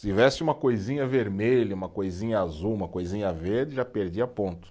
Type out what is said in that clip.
Se tivesse uma coisinha vermelha, uma coisinha azul, uma coisinha verde, já perdia ponto.